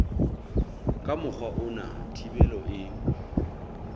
ka mokgwa ona thibelo e